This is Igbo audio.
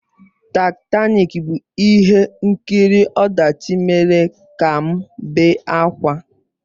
Taịtanik bụ ihe nkiri ọdachi mere ka m bee ákwà.